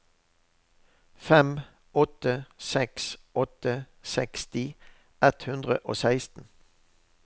fem åtte seks åtte seksti ett hundre og seksten